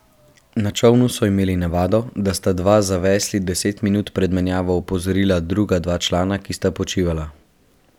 Na čolnu so imeli navado, da sta dva za vesli deset minut pred menjavo opozorila druga dva člana, ki sta počivala.